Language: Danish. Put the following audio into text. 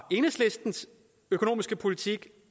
enhedslistens økonomiske politik